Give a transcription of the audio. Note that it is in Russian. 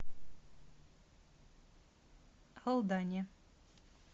алдане